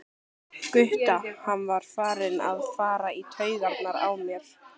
Gutta, hann var farinn að fara í taugarnar á mér.